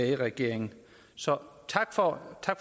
i regering så tak for